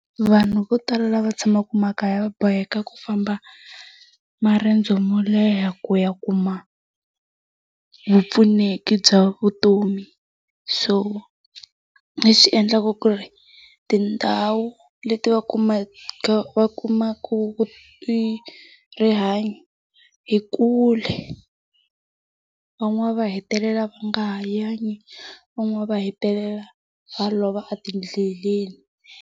Vanhu vo tala lava tshamaka makaya va boheka ku famba maendzo mo leha ku ya kuma vupfuneki bya vutomi. So, leswi endlaka ku ri tindhawu leti va kumaka va kumaka rihanyo i kule. Van'wana va hetelela va nga ha yanga, van'wana va hetelela va lova etindleleni.